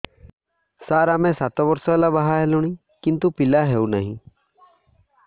ସାର ଆମେ ସାତ ବର୍ଷ ହେଲା ବାହା ହେଲୁଣି କିନ୍ତୁ ପିଲା ହେଉନାହିଁ